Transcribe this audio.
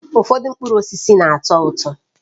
Ụfọdụ mkpụrụ osisi na-atọ ụtọ